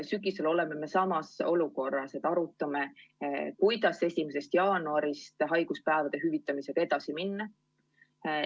Sügisel oleme samas olukorras, et arutame, kuidas 1. jaanuarist haiguspäevade hüvitamisega edasi minna.